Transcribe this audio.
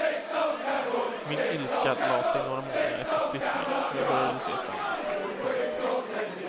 Min ilska la sig några månader efter splittringen och jag började se framåt. punkt